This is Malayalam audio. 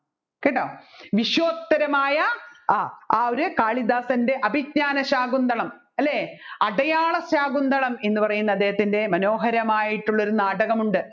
കേട്ടോ വിശ്വോത്തരമായ ആ ആ ഒരു കാളിദാസൻെറ അഭിജ്ഞാനശാകുന്തളം അല്ലെ അടയാളശാകുന്തളം എന്ന് പറയുന്ന അദ്ദേഹത്തിൻെറ മനോഹരമായിട്ടുള്ള ഒരു നാടകമുണ്ട്